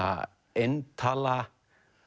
eintala